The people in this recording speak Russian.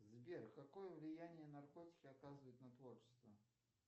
сбер какое влияние наркотики оказывают на творчество